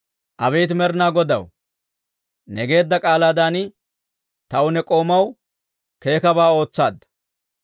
Abeet Med'inaa Godaw, ne geedda k'aalaadan, taw ne k'oomaw keekkabaa ootsaadda.